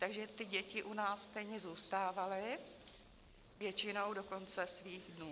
Takže ty děti u nás stejně zůstávaly většinou do konce svých dnů.